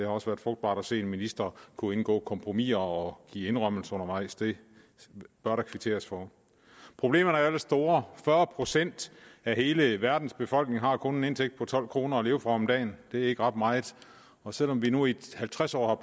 også været frugtbart at se en minister kunne indgå kompromiser og give indrømmelser undervejs det bør der kvitteres for problemerne er jo ellers store fyrre procent af hele verdens befolkning har kun en indtægt på tolv kroner at leve for om dagen det er ikke ret meget og selv om vi nu i halvtreds år